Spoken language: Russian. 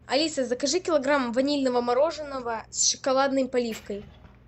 алиса закажи килограмм ванильного мороженого с шоколадной поливкой